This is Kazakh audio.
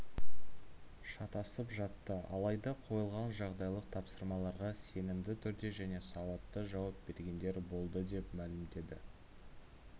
шатасып жатты алайда қойылған жағдайлық тапсырмаларға сенімді түрде және сауатты жауап бергендер болды деп мәлімдеді